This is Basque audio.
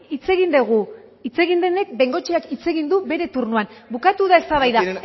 hitz egin dugu de bengoecheak hitz egin du bere turnoan bukatu da eztabaida